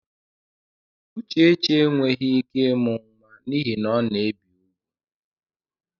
Uchechi enweghị ike ịmụ nwa n'ihi na ọ na-ebi úgwù.